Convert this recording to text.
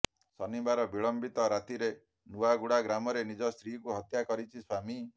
ଶନିବାର ବିଳମ୍ବିତ ରାତିରେ ନୂଆଗୁଡା ଗ୍ରାମରେ ନିଜ ସ୍ତ୍ରୀକୁ ହତ୍ୟା କରିଛି ସ୍ବାମୀ